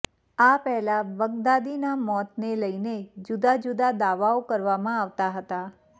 આ પહેલા બગદાદીના મોતને લઇને જુદાજુદા દાવાઓ કરવામાં આવતા હતા